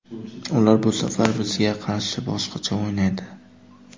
Ular bu safar bizga qarshi boshqacha o‘ynaydi.